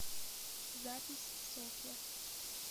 запись софья